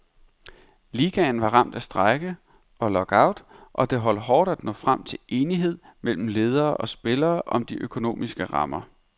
Ligaen var ramt af strejke og lock out, og det holdt hårdt at nå frem til enighed mellem ledere og spillere om de økonomiske rammer.